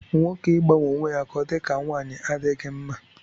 Nwoke ịgbanwe onwe ya ka ọ dị ka nwanyị adịghị mma